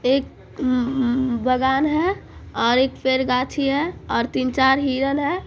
एक ही हम्म हम्म बागान है और एक पेड़ गाछी है और तीन चार हिरण है ।